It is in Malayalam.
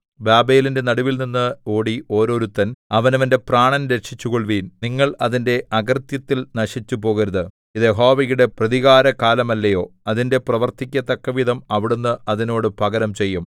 ബാബേലിന്റെ നടുവിൽനിന്ന് ഓടി ഓരോരുത്തൻ അവനവന്റെ പ്രാണൻ രക്ഷിച്ചുകൊള്ളുവിൻ നിങ്ങൾ അതിന്റെ അകൃത്യത്തിൽ നശിച്ചുപോകരുത് ഇത് യഹോവയുടെ പ്രതികാരകാലമല്ലയോ അതിന്റെ പ്രവൃത്തിക്കു തക്കവിധം അവിടുന്ന് അതിനോട് പകരം ചെയ്യും